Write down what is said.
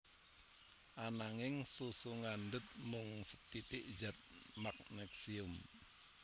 Ananging susu ngandhut mung sethithik zat Magnesium